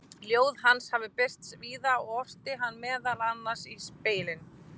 ljóð hans hafa birst víða og orti hann meðal annars í „spegilinn“